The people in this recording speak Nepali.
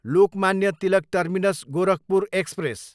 Lokmanya Tilak terminus, Gorakhpur express